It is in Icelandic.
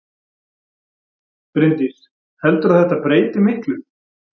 Bryndís: Heldurðu að þetta breyti miklu?